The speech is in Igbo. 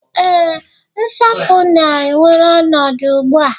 ee, nsapu na-ewere ọnọdụ ugbu a